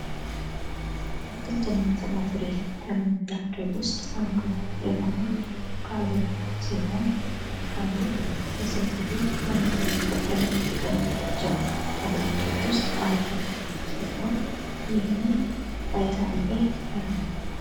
አትክልትና ፍራፍሬ ከምንላቸው ውስጥ አንዱ የሆነው ካሮት ሲሆን ካሮት የሰው ልጆች ለምግብነት ከሚጠቀሙባቸው አታክልቶች ውስጥ አንዱ ሲሆን ይህ በውስጡ ቫይታሚን ኤ አለው።